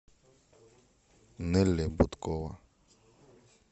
нелли будкова